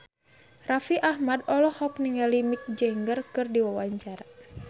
Raffi Ahmad olohok ningali Mick Jagger keur diwawancara